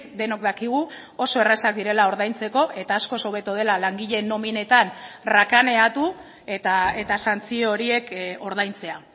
denok dakigu oso errazak direla ordaintzeko eta askoz hobeto dela langileen nominetan rakaneatu eta santzio horiek ordaintzea